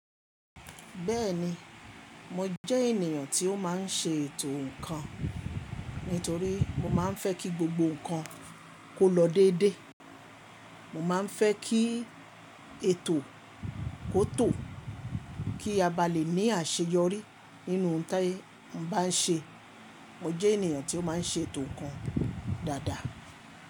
Bẹ́ẹ̀ni, mo jẹ́ ènìyàn tí ó máa ń ṣe ètò nǹkan. Nítorí mo máa ń fẹ́ kí gbogbo ǹkan kó lọ dédé. Mo máa ń fẹ́ kí ètò kó tò, kí a bá lè ní àṣeyọrí nínú ohun tí a bá ń ṣe. Mo jẹ́ ènìyàn tó máa ń ṣe ètò ǹkan dáadáa.